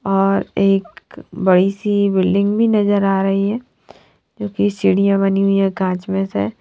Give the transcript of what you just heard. और एक बड़ी सी बिल्डिंग भी नज़र आरही है सीढिया बनी हुई है कांच में से--